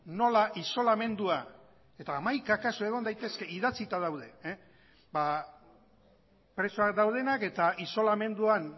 nola isolamendua eta hamaika kasu egon daitezke idatzita daude ba preso daude eta isolamenduan